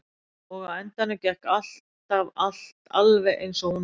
Og á endanum gekk alltaf allt alveg eins og hún vildi.